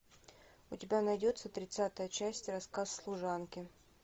у тебя найдется тридцатая часть рассказ служанки